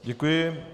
Děkuji.